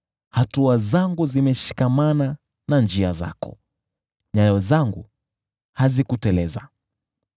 Hatua zangu zimeshikamana na njia zako; nyayo zangu hazikuteleza.